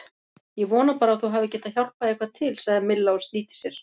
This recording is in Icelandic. Ég vona bara að þú hafir getað hjálpað eitthvað til sagði Milla og snýtti sér.